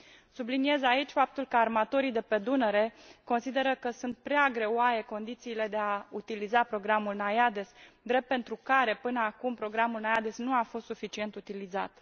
Subliniez aici faptul că armatorii de pe Dunăre consideră că sunt prea greoaie condițiile de a utiliza programul NAIADES, drept pentru care, până acum, programul NAIADES nu a fost suficient utilizat.